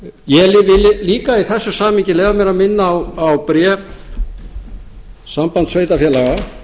ég vil líka í þessu samhengi leyfa mér að minna á bréf sambands